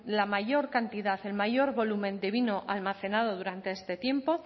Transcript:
la mayor cantidad el mayor volumen de vino almacenado durante este tiempo